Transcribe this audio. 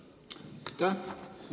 Aitäh!